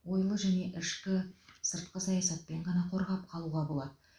ойлы және ішкі сыртқы саясатпен ғана қорғап қалуға болады